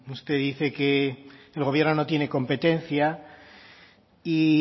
usted dice que el gobierno no tiene competencia y